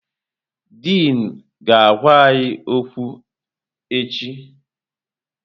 Dịn ga-agwa anyị okwu echi.